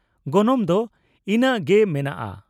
ᱜᱚᱱᱚᱝ ᱫᱚ ᱤᱱᱟᱹᱝ ᱜᱮ ᱢᱮᱱᱟᱜᱼᱟ ᱾